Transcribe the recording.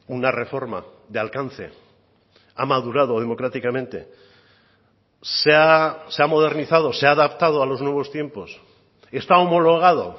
una reforma de alcance ha madurado democráticamente se ha modernizado se ha adaptado a los nuevos tiempos está homologado